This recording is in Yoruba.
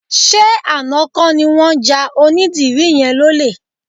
Ṣé àná kọ́ ni wọ́n ja onídìrí yẹn lólè?